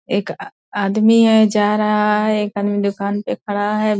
एक आ आदमी है जा रहा है। एक आदमी दुकान पे खड़ा है।